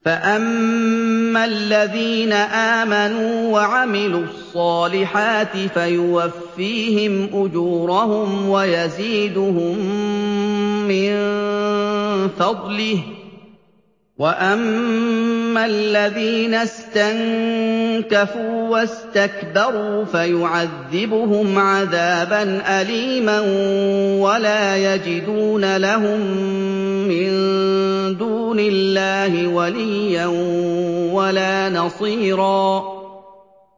فَأَمَّا الَّذِينَ آمَنُوا وَعَمِلُوا الصَّالِحَاتِ فَيُوَفِّيهِمْ أُجُورَهُمْ وَيَزِيدُهُم مِّن فَضْلِهِ ۖ وَأَمَّا الَّذِينَ اسْتَنكَفُوا وَاسْتَكْبَرُوا فَيُعَذِّبُهُمْ عَذَابًا أَلِيمًا وَلَا يَجِدُونَ لَهُم مِّن دُونِ اللَّهِ وَلِيًّا وَلَا نَصِيرًا